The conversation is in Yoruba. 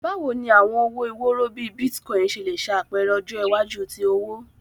Bawo ni awọn owo iworo bii Bitcoin ṣe le ṣe apẹrẹ ọjọ iwaju ti owo?